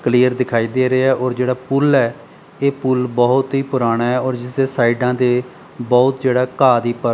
clear ਦਿਖਾਈ ਦੇ ਰਹੇ ਐ ਔਰ ਜਿਹੜਾ ਪੁੱਲ ਐ ਇਹ ਪੁੱਲ ਬਹੁਤ ਹੀ ਪੁਰਾਨਾ ਹੈ ਔਰ ਜਿਸਦੇ ਸਾਈਡਾਂ ਤੇ ਬਹੁਤ ਜਿਹੜਾ ਘਾਹ ਦੀ ਪਰ --